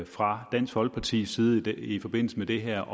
fra dansk folkepartis side i forbindelse med det her